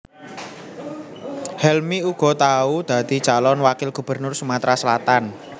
Helmy uga tau dadi calon wakil gubernur Sumatra Selatan